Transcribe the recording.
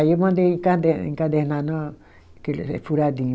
Aí eu mandei encader encadernar na, que ele é furadinho.